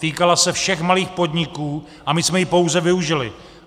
Týkala se všech malých podniků a my jsme ji pouze využili.